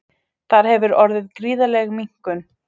Þar hefur orðið gríðarleg minnkun